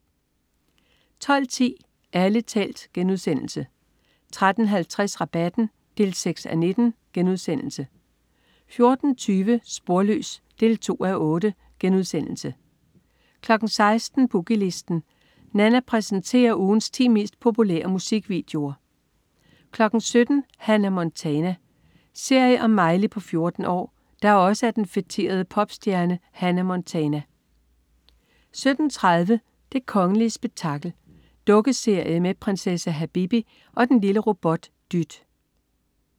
12.10 Ærlig talt* 13.50 Rabatten 6:19* 14.20 Sporløs 2:8* 16.00 Boogie Listen. Nanna præsenterer ugens ti mest populære musikvideoer 17.00 Hannah Montana. Serie om Miley på 14 år, der også er den feterede popstjerne Hannah Montana 17.30 Det kongelige spektakel. Dukkeserie med prinsesse Habibi og og den lille robot Dyt